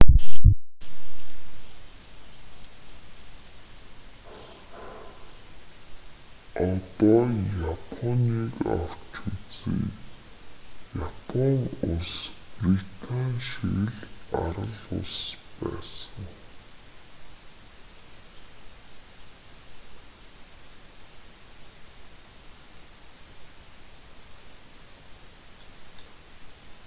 одоо японыг авч үзье япон улс британи шиг л арал улс байсан